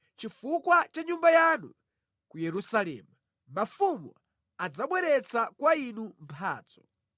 Chifukwa cha Nyumba yanu ku Yerusalemu, mafumu adzabweretsa kwa Inu mphatso.